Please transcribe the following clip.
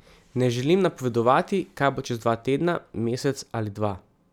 Ne želim napovedovati, kaj bo čez dva tedna, mesec ali dva.